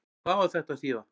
Hvað á þetta að þýða?